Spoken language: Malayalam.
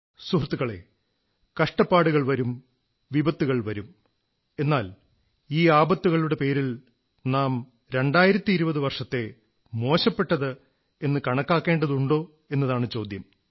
സുഹൃത്തുക്കളേ കഷ്ടപ്പാടുകൾ വരുംവിപത്തുകൾ വരും എന്നാൽ ഈ ആപത്തുകളുടെ പേരിൽ നാം 2020 വർഷത്തെ മോശപ്പെട്ടത് എന്നു കണക്കാക്കേണ്ടതുണ്ടോ എന്നതാണ് ചോദ്യം